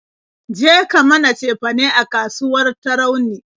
Je ka mana cefane a kasuwar Tarauni!